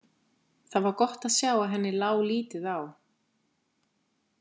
Það var gott að sjá að henni lá lítið á.